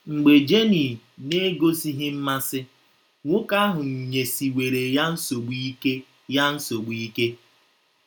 Mgbe Jenny na - egosighị mmasị, nwoke ahụ nyesiwere ya nsogbu ike ya nsogbu ike.